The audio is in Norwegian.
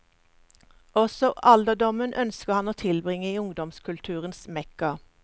Også alderdommen ønsker han å tilbringe i ungdomskulturens mekka.